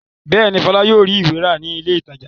Bẹ́ẹ̀ ni, Fọlá yóò rí ìwé rà ní ilé-ìtajà.